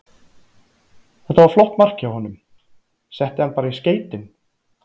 Þetta var flott mark hjá honum, setti hann bara í skeytin.